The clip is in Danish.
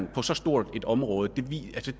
på så stort et område